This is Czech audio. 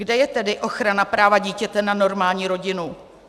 Kde je tedy ochrana práva dítěte na normální rodinu?